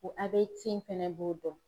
Ko a be cɛn fɛnɛ b'o dɔn